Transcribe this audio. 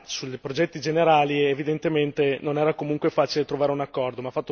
sui progetti generali, evidentemente non era comunque facile trovare un accordo.